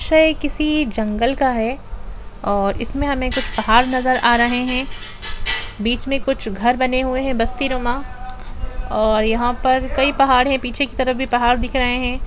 वेसे किसी जंगल का है और इसमें हमें कुछ पहाड़ नजर आ रहे है बीच में कुछ घर बने हुए है बस्ती रोमा और यहां पर कई पहाड़ है पीछे की तरफ भी पहाड़ दिख रहे है।